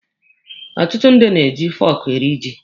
Ọtụtụ ndị na-eji fọọkụ eri ji.